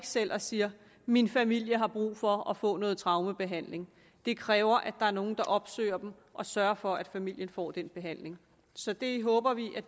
selv og siger min familie har brug for at få noget traumebehandling det kræver at der nogle der opsøger dem og sørger for at familien får den behandling så det håber vi at